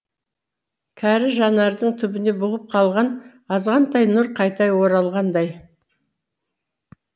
кәрі жанардың түбіне бұғып қалған азғантай нұр қайта оралғандай